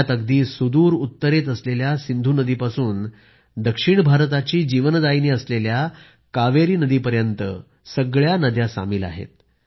यात अगदी सुदूर उत्तरेत असलेल्या सिंधू नदीपासून दक्षिण भारताची जीवनदायिनी असलेल्या कावेरी नदी पर्यंत सगळ्या नद्या सामील आहेत